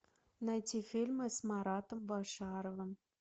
найти фильмы с маратом башаровым